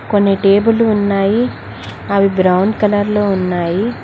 కొన్ని టేబులు ఉన్నాయి అవి బ్రౌన్ కలర్ లో ఉన్నాయి.